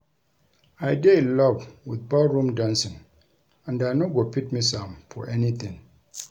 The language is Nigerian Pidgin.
I dey in love with ball room dancing and I no go fit miss am for anything